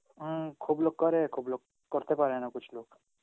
হম খুব লোক করে, খুব লোক করতে পারে না Hindi লোক.